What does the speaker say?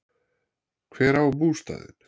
Hver á bústaðinn?